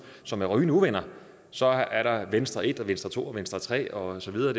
som er rygende uvenner så er der venstre en venstre to og venstre tre og så videre